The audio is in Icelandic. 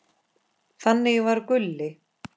Þannig var Gulli.